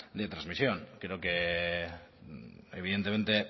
de transmisión creo que evidentemente